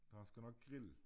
Så han skal nok grille